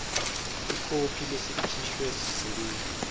ikhophi lesikhishwe sisebenti